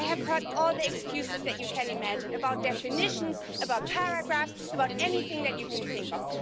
I have heard all the excuses that you can imagine about definitions, about paragraphs, and about anything that you can think of.